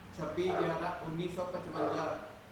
ਛੱਬੀਗਿਆਰਾਂਉੱਨੀ ਸੌ ਪਚਵੰਜਾ